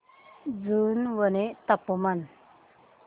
जुनवणे चे तापमान